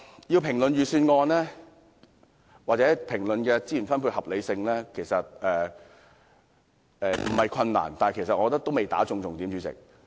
要評論預算案或資源分配的合理性其實不困難，但主席，我卻認為還未擊中重點。